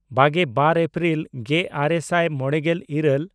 ᱵᱟᱜᱮᱼᱵᱟᱨ April ᱜᱮᱼᱟᱨᱮ ᱥᱟᱭ ᱢᱚᱬᱮᱜᱮᱞ ᱤᱨᱟᱹᱞ